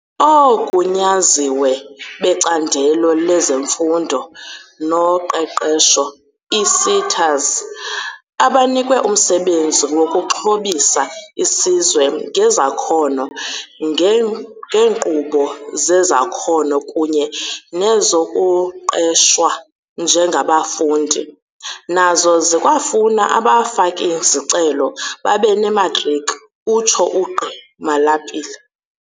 "OoGunyaziwe beCandelo lezeMfundo noQeqesho, ii-SETAs, abanikwe umsebenzi wokuxhobisa isizwe ngezakhono ngeenkqubo zezakhono kunye nezokuqeshwa njengabafundi, nazo zikwafuna abafaki-zicelo babe nematriki," utsho uGqi Malapile.